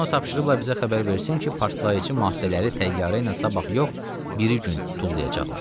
Guya ona tapşırıblar bizə xəbər versin ki, partlayıcı maddələri təyyarə ilə sabah yox, biri gün tullayacaqlar.